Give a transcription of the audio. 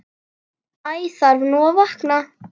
Æ þarf nú að vakna.